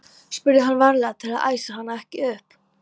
spurði hann, varlega til að æsa hana ekki upp.